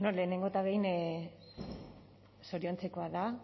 lehenengo eta behin zoriontzekoa da